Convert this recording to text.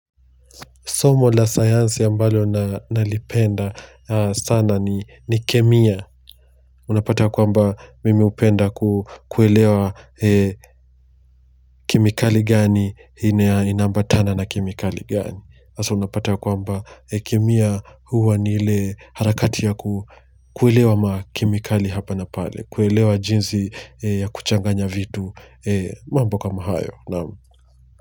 Somo la sayansi ambalo nalipenda sana ni kemia. Unapata kwamba mimi hupenda kukuelewa kemikali gani, ina ambatana na kemikali gani. Hasa unapata kwamba kemia huwa ni ile harakati ya kukuelewa ma kemikali hapa na pale. Kuelewa jinsi ya kuchanganya vitu mambo kama hayo.